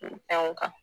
Fɛnw kan